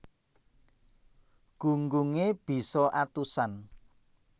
Gunggunge bisa atusan